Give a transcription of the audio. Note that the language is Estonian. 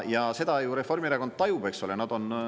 Ja seda ju Reformierakond tajub, eks ole.